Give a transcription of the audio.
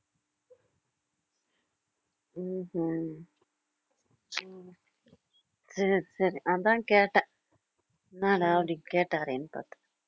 உம் ஹும் சரி சரி அதான் கேட்டேன் என்னடா அப்படி கேட்டாரேன்னு பாத்தேன்